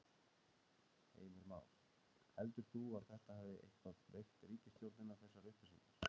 Heimir Már: Heldur þú að þetta hafi eitthvað veikt ríkisstjórnina þessar upplýsingar?